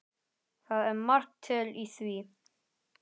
Það er margt til í því.